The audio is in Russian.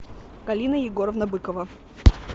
галина егоровна быкова